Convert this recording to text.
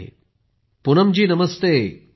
प्रधानमंत्रिजीः Poonam ji Namaste.